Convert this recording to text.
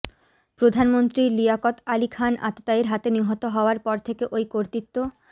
প্রধানমন্ত্রী লিয়াকত আলী খান আততায়ীর হাতে নিহত হওয়ার পর থেকে ওই কর্তৃত্ব